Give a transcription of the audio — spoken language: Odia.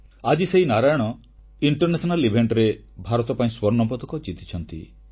ଆଜି ସେହି ନାରାୟଣ ଆର୍ନ୍ତଜାତିକ କ୍ରୀଡାରେ ଭାରତ ପାଇଁ ସ୍ୱର୍ଣ୍ଣପଦକ ଜିତିଛନ୍ତି